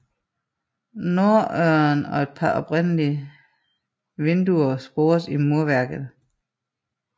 Norddøren og et par oprindelige vinduer spores i murværket